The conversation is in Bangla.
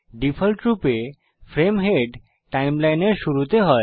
ডিফল্টরূপে ফ্রেম হেড সময়রেখার শুরুতে হয়